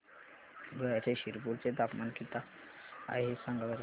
धुळ्याच्या शिरपूर चे तापमान किता आहे सांगा बरं